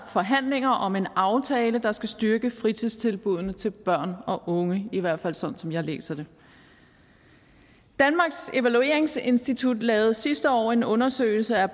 forhandlinger om en aftale der skal styrke fritidstilbuddene til børn og unge i hvert fald sådan som jeg læser det danmarks evalueringsinstitut lavede sidste år en undersøgelse af